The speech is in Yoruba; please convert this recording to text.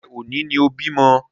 Ṣé òní ni o bímọ?